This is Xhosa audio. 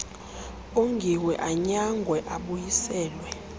ongiwe anyangwe abuyiselwe